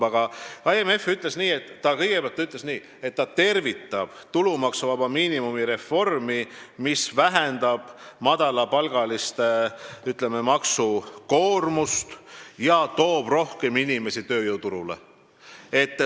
Aga IMF ütles kõigepealt nii, et ta tervitab tulumaksuvaba miinimumi reformi, mis vähendab madalapalgaliste maksukoormust ja toob rohkem inimesi tööjõuturule.